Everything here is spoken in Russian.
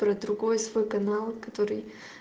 про другой свой канал который